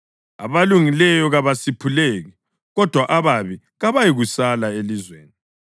Abalungileyo kabasiphuleki, kodwa ababi kabayikusala elizweni.